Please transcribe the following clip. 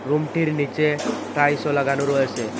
রুমটির নীচে টাইলসও লাগানো রয়েসে।